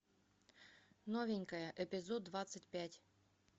новенькая эпизод двадцать пять